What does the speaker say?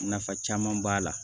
Nafa caman b'a la